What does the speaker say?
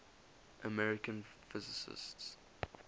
american physicists